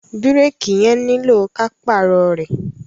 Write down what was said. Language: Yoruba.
Bírèèkì yẹn nílò ka pààrọ̀ rẹ̀.